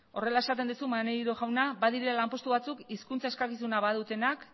horrela esaten duzu maneiro jauna badirela lanpostu batzuk hizkuntza eskakizuna badutenak